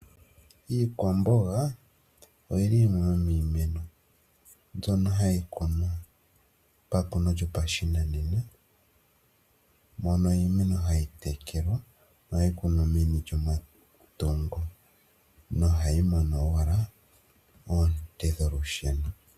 Iikwamboga oyili yimwe yo miimeno mbyono hayi kunwa pakuno lyopashinanena, mono iimeno hayi tekelwa, no hayi kunwa meni lyomatungo no hayi mono owala oonte dholusheno